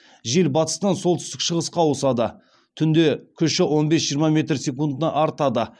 жел батыстан солтүстік шығысқа ауысады түнде күші он бес жиырма метр секундына артады